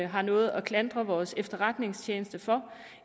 har noget at klandre vores efterretningstjenester for